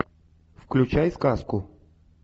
включай сказку